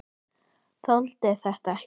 Þoldi þetta ekki!